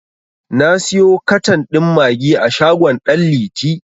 Na siyo katan ɗin maggi a shagon ɗan liti.